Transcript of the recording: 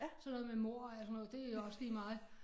Sådan noget med mord og alt sådan noget det også lige mig